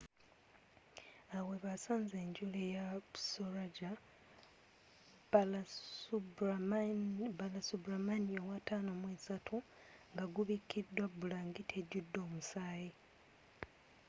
awo webasanze enjole ya saroja balasubramanian 53 nga gubikiddwa bulangiti ejudde omusaayi